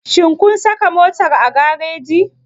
Shin kun saka motar a gareji?